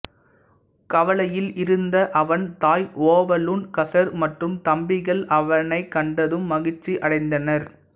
கவலையில் இருந்த அவன் தாய் ஓவலூன் கசர் மற்றும் தம்பிகள் அவனைக் கண்டதும் மகிழ்ச்சியடைந்தனர்